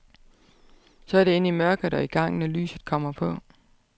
Så er det ind i mørket og i gang, når lyset kommer på.